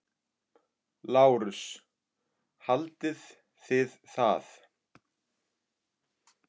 LÁRUS: Haldið þið það?